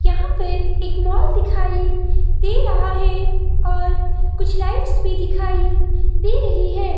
यहां पर एक मॉल दिखाई दे रहा है और कुछ लाइट्स भी दिखाई दे रही है।